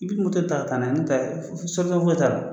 N bɛ ta ka taa n'a ye n'o tɛ foyi t'a la.